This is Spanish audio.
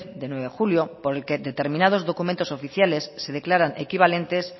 de nueve de julio por el que determinados documentos oficiales se declaran equivalentes